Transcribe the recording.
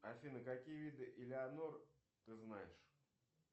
афина какие виды элеанор ты знаешь